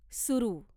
सुरू